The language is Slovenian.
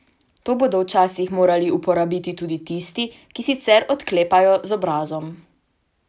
To bodo včasih morali uporabiti tudi tisti, ki sicer odklepajo z obrazom.